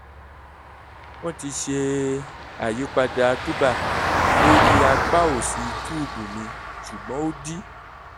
wọ́n ti ṣe àyípadà túbà lórí apá òsì túùbù mi ṣùgbọ́n ó dí